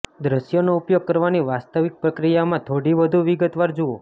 દ્રશ્યનો ઉપયોગ કરવાની વાસ્તવિક પ્રક્રિયામાં થોડી વધુ વિગતવાર જુઓ